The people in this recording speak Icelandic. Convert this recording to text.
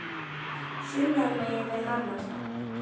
sunnan megin við hana.